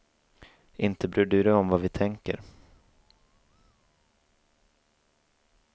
Inte bryr du dig om vad vi tänker.